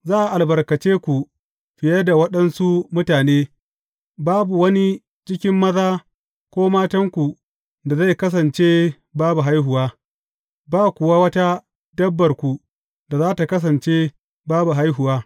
Za a albarkace ku fiye da waɗansu mutane; babu wani cikin maza ko matanku da zai kasance babu haihuwa, ba kuwa wata dabbarku da za tă kasance babu haihuwa.